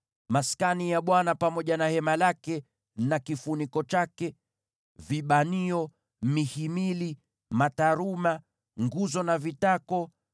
Maskani pamoja na hema lake na kifuniko chake, vibanio, mihimili, mataruma, nguzo na vitako;